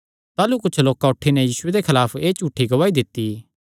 ताह़लू कुच्छ लोकां उठी नैं यीशुये दे खलाफ एह़ झूठी गवाही दित्ती